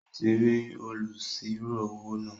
Ó ti rí olùsirò-owó náà